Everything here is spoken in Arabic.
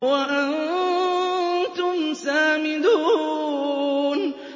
وَأَنتُمْ سَامِدُونَ